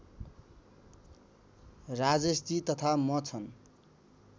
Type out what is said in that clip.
राजेशजी तथा म छन्